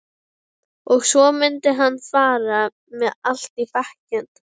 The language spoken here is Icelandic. Og svo mundi hann fara með allt í bekkinn.